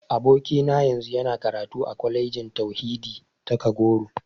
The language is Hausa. Abokina yanzu yana karatu a Kwalejin Tauhidi ta Kagoro.